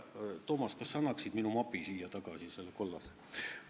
Toomas, kas sa annaksid siia minu mapi, mille ma juba ära viisin, kollase.